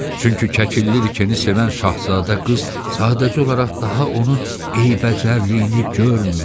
Çünki Kəkilliriki sevən Şahzadə qız sadəcə olaraq daha onun eybəcərliyini görmürdü.